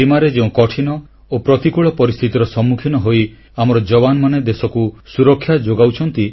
ସୀମାରେ ଯେଉଁ କଠିନ ଓ ପ୍ରତିକୂଳ ପରିସ୍ଥିତିର ସମ୍ମୁଖୀନ ହୋଇ ଆମର ଯବାନମାନେ ଦେଶକୁ ସୁରକ୍ଷା ଯୋଗାଉଛନ୍ତି